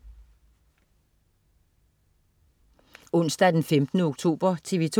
Onsdag den 15. oktober - TV 2: